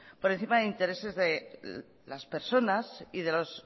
por encima de intereses de las personas y